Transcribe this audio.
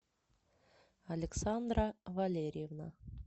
александра валерьевна